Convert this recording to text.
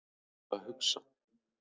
Hvað var ég eiginlega að hugsa?